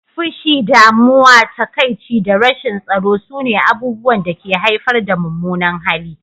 Fushi, damuwa, takaici da rashin tsaro sune abubuwan da ke haifar da mummunan hali.